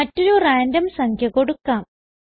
മറ്റൊരു റാൻഡം സംഖ്യ കൊടുക്കാം